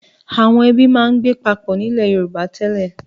Àwọn ẹbí máa ń gbé papọ̀ nílẹ̀ Yorùbá tẹ́lẹ̀.